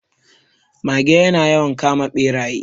Mage ya na yawan kama Ɓeraye